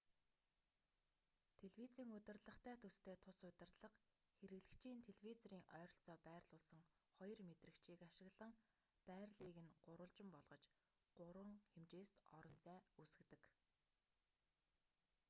телевизийн удирдлагатай төстэй тус удирдлага хэрэглэгчийн телевизорын ойролцоо байрлуулсан хоёр мэдрэгчийг ашиглан байрлалыг нь гурвалжин болгож гурван хэмжээст орон зай үүсгэдэг